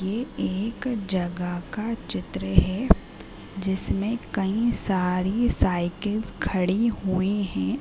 ये एक जगह का चित्र हे जिसमें कईं सारी साइकिल्स खड़ी हुईं हें ।